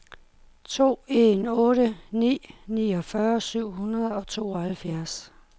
to en otte ni niogfyrre syv hundrede og tooghalvfjerds